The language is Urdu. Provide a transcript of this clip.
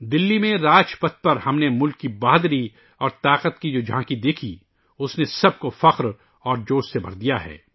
دلّی میں راج پتھ پر ، ہم نے ملک کی بہادری اور طاقت کی ، جو جھانکی دیکھی ، اُس نے سب کو فخر اور جوش سے بھر دیا